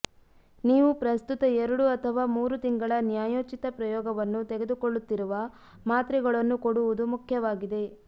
ನೀವು ಪ್ರಸ್ತುತ ಎರಡು ಅಥವಾ ಮೂರು ತಿಂಗಳ ನ್ಯಾಯೋಚಿತ ಪ್ರಯೋಗವನ್ನು ತೆಗೆದುಕೊಳ್ಳುತ್ತಿರುವ ಮಾತ್ರೆಗಳನ್ನು ಕೊಡುವುದು ಮುಖ್ಯವಾಗಿದೆ